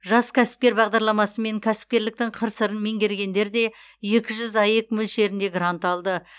жас кәсіпкер бағдарламасымен кәсіпкерліктің қыр сырын меңгергендер де екі жүз аек мөлшерінде грант алды